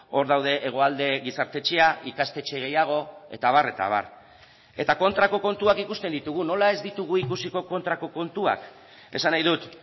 hor daude hegoalde gizarte etxea ikastetxe gehiago eta abar eta abar eta kontrako kontuak ikusten ditugu nola ez ditugu ikusiko kontrako kontuak esan nahi dut